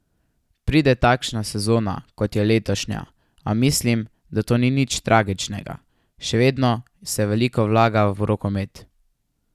Pride takšna sezona, kot je letošnja, a mislim, da to ni nič tragičnega, še vedno se veliko vlaga v rokomet.